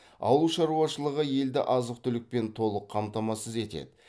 ауыл шаруашылығы елді азық түлікпен толық қамтамасыз етеді